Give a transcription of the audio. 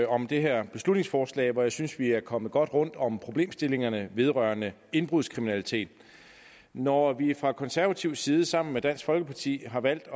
om det her beslutningsforslag og jeg synes vi er kommet godt rundt om problemstillingerne vedrørende indbrudskriminalitet når vi fra konservativ side sammen med dansk folkeparti har valgt